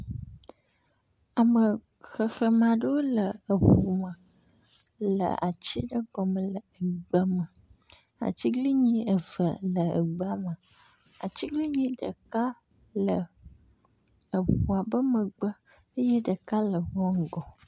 Ame xexlẽme aɖewo le eŋu me le ati ɖe gɔme le egbe me. Atiglinyi eve le egbea me, atiglinyi ɖeka le eŋua be megbe eye ɖeka le ŋua ŋgɔ.